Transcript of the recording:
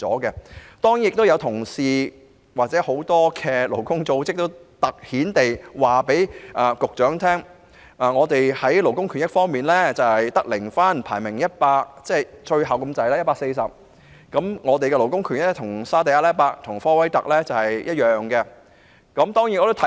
此外，亦有同事或勞工組織向局長強調，本港在勞工權益方面只得零分、排名 140， 與沙地阿拉伯及科威特同樣位列榜末。